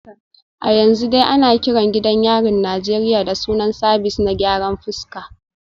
A yanzu dai ana kiran gidan yarin Najeriya da sunan Sabis na gyaran fuska